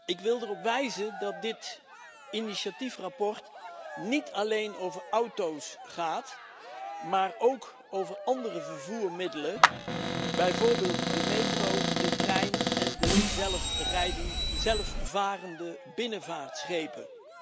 Ik wil erop wijzen dat dit initiatiefverslag niet alleen over auto's gaat, maar ook over andere vervoermiddelen, bijvoorbeeld de metro, de trein en de zelfvarende binnenvaartschepen.